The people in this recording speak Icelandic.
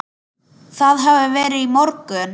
Það hafði verið í morgun.